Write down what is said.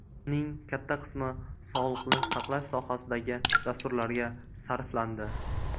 Uning katta qismi sog‘liqni saqlash sohasidagi dasturlarga sarflandi.